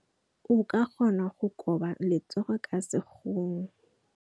O ka kgona go koba letsogo ka sekgono.